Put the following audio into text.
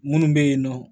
Munnu be yen nɔ